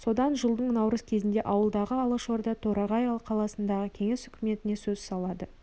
содан жылдың наурыз кезінде ауылдағы алашорда торғай қаласындағы кеңес үкіметіне сөз салады